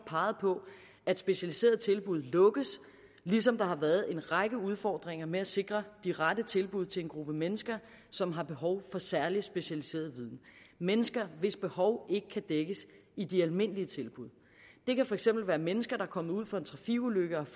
peget på at specialiserede tilbud lukkes ligesom der har været en række udfordringer med at sikre de rette tilbud til en gruppe mennesker som har behov for særlig specialiseret viden mennesker hvis behov ikke kan dækkes i de almindelige tilbud det kan for eksempel være mennesker der er kommet ud for en trafikulykke og